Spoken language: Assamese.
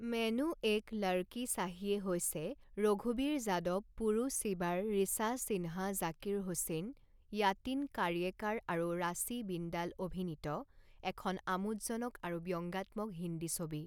মেনু এক লড়কী চাহিয়ে' হৈছে ৰঘূবীৰ যাদৱ, পুৰু চিবাৰ, ৰিছা সিন্হা. জাকিৰ হুছেইন, য়াটিন কাৰ্য়েকাৰ আৰু ৰাশী বিন্দাল অভিনীত এখন আমোদজনক আৰু ব্যংগাত্মক হিন্দী ছবি।